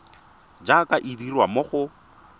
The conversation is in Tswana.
jaaka e dirwa mo go